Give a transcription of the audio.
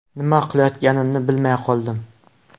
Nima qilayotganimni bilmay qoldim.